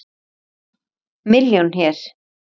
Milljón hér.